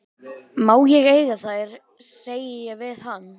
Má ég eiga þær, segi ég við hann.